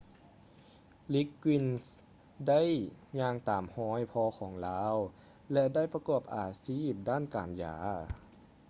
liggins ໄດ້ຍ່າງຕາມຮອຍພໍ່ຂອງລາວ ແລະ ໄດ້ປະກອບອາຊີບດ້ານການຢາ